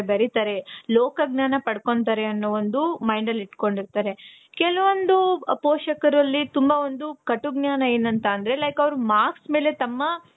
ಬೇರಿತಾರೆ ಲೋಕಜ್ಞಾನ ಪಡ್ಕೊಂತಾರೆ ಅನ್ನೋ ಒಂದು mind ಅಲ್ಲಿ ಇಟ್ಕೊಂಡಿರ್ತಾರೆ. ಕೆಲವೊಂದು ಪೋಷಕರಲ್ಲಿ ತುಂಬ ಒಂದು ಕಟು ಜ್ಞಾನ ಏನು ಅಂತ ಅಂದ್ರೆ like ಅವ್ರು marks ಮೇಲೆ ತಮ್ಮ.